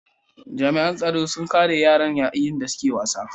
Jami'an tsaro sun kare yaran yayin da suke wasa.